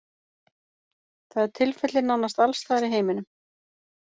Það er tilfellið nánast alls staðar í heiminum.